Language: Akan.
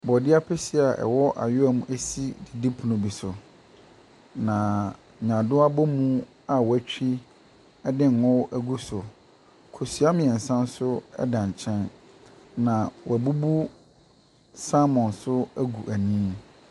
Borɔdeɛ ampesie a ɛwɔ awewa mu si adidipono so. Na nyaadoa abomu a wɔatwi de ngo agu so. Kosua mmiɛnsa nso da nkyɛn. Na wɔabubu saamon nso agu ani.